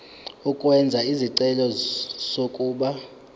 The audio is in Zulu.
ukwenza isicelo sokuba